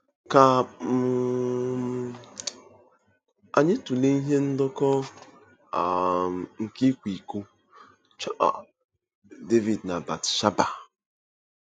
Ka um anyị tụlee ihe ndekọ um nke ịkwa iko um Devid na Bat-sheba.